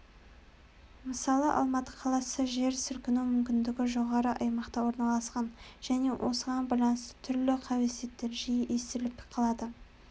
мысалы алматы қаласы жер сілкіну мүмкіндігі жоғары аймақта орналасқан және осыған байланысты түрлі қауесеттер жиі естіліп қалады